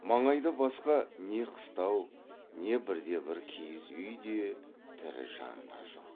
маңайда басқа не қыстау не бірде бір киіз үй де тірі жан да жоқ